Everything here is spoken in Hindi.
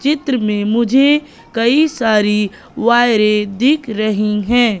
चित्र में मुझे कई सारी वायरें दिख रही हैं।